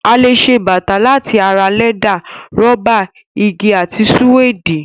A lè ṣe bàtà láti ara lẹ́dà, rọ́bà, igi àti sùwéèdì.